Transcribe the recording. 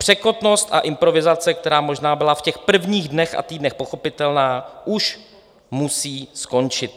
Překotnost a improvizace, která možná byla v těch prvních dnech a týdnech pochopitelná, už musí skončit.